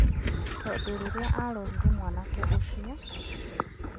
Tondũ rĩrĩa arorire mwanake ũcio